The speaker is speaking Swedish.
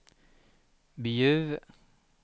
Bjuv